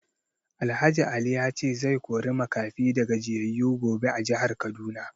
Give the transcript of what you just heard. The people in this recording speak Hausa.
Alh Ali ya ce zai kori makafi da gajiyayu gobe a jihar Kaduna